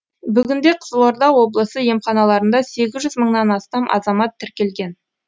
бүгінде қызылорда облысы емханаларында сегіз жүз мыңнан астам азамат тіркелген